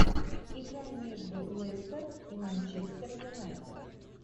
игра между лестер и манчестер юнайтед